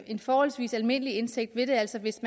en forholdsvis almindelig indtægt vil det altså hvis